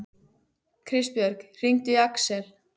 Kristbjörg, hringdu í Aksel.